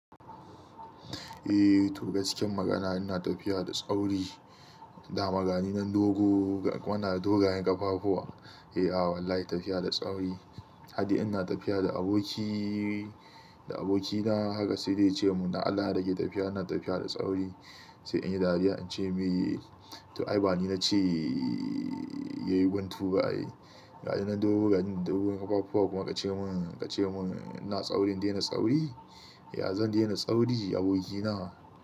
Eh to gaskiyan magana ina tafiya da tsauri, da magani nan dogo da muna da dogayen ƙafa fuwa. Eh, a wallahi tafiya da sauri. Ade ina tafiya da abokiii, da abokina haka sai dai ya ce mun "Da Allah in rage tafiya ina tafiya da tsauri." Sai inyi dariya, in ce mai to ai bani na ce yayi guntu ba ai. Ya jona dogon ƙafafuwa kuma ka ce mun, ka ce mun ina tsaurin dena tsauri? Ya zan dena sauri abokina.